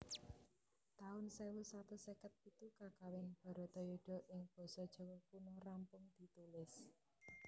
taun sewu satus seket pitu Kakawin Bharatayuddha ing basa Jawa Kuna rampung ditulis